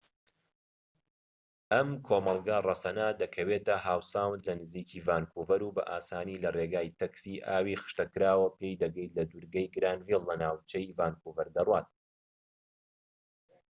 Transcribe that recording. ئەم کۆمەڵگە ڕەسەنە دەکەوێتە هاو ساوند لە نزیکی ڤانکوڤەر و بە ئاسانی لە ڕێگەی تاکسی ئاوی خشتەکراوەوە پێی دەگەیت کە لە دوورگەی گرانڤایل لە ناوجەرگەی ڤانکوڤەر دەڕوات